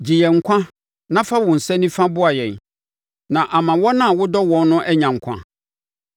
Gye yɛn nkwa na fa wo nsa nifa boa yɛn, na ama wɔn a wodɔ wɔn no anya nkwa.